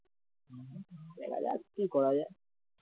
দেখা যাক কি করা যায়